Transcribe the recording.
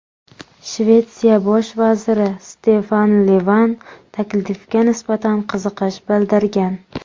Shvetsiya bosh vaziri Stefan Levan taklifga nisbatan qiziqish bildirgan.